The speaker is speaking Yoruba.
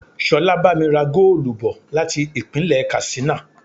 Ṣolá bá mi ra goolu bò láti Ìpínlẹ̀ Katsina.